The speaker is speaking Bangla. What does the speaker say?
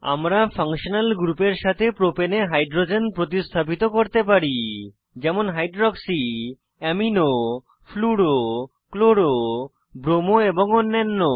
আমরা ফাংশনাল গ্রুপের সাথে প্রপাণে প্রোপেন এ হাইড্রোজেন প্রতিস্থাপিত করতে পারি যেমন hydroxy amino fluoro chloro bromo এবং অন্যান্য